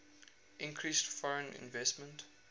increased foreign investment